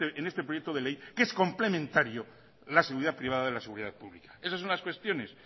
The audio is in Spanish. en este proyecto de ley que es complementario la seguridad privada de la seguridad pública esas son las cuestiones